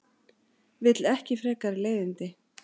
Vill ekki frekari leiðindi.